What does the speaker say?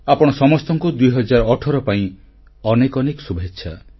ଆପଣ ସମସ୍ତଙ୍କୁ 2018 ପାଇଁ ଅନେକ ଅନେକ ଶୁଭେଚ୍ଛା